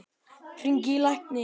Hringi í lækni.